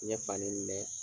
N ɲɛ falen bɛ.